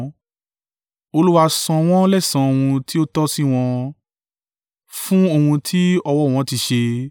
Olúwa san wọ́n lẹ́san ohun tí ó tọ́ sí wọn fún ohun tí ọwọ́ wọn ti ṣe.